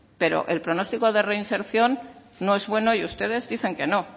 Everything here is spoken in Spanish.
pero el pronóstico de reinserción no es bueno y ustedes dicen que no